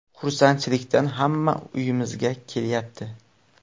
Xursandchilikdan hamma uyimizga kelyapti.